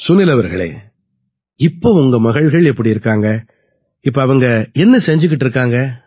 சுனில் அவர்களே இப்ப உங்க மகள்கள் எப்படி இருக்காங்க இப்ப அவங்க என்ன செய்திட்டு இருக்காங்க